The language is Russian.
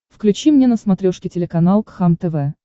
включи мне на смотрешке телеканал кхлм тв